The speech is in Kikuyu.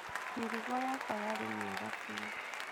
Mĩrigo yakwa yarĩ mĩega biũ.